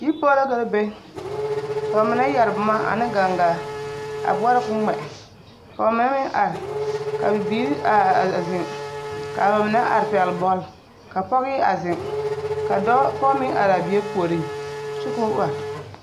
Yiripoɔ la ka ba be ka ba mine yɛre boma ane gangaa a boɔrɔ k,o ŋmɛ ka ba mine meŋ are ka bibiiri are a zeŋ ka ba mine are pɛgle bɔle ka pɔge a zeŋ ka dɔɔ pɔge meŋ are a bie puoriŋ kyɛ k,o are.